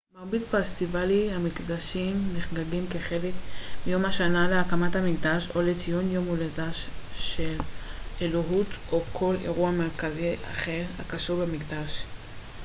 מרבית פסטיבלי המקדשים נחגגים כחלק מיום השנה להקמת המקדש או לציון יום הולדתה של אלוהות או כל אירוע מרכזי אחר הקשור במקדש